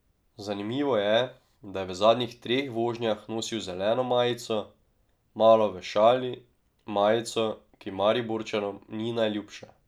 Zanimivo je, da je v zadnjih treh vožnjah nosil zeleno majico, malo v šali, majico, ki Mariborčanom ni najljubša.